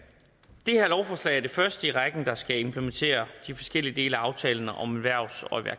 første i rækken der skal implementere de forskellige dele af aftalen om erhvervs og